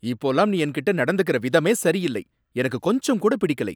இப்போல்லாம் நீ என்கிட்ட நடந்துக்குற விதமே சரியில்லை, எனக்கு கொஞ்சம் கூட பிடிக்கலை.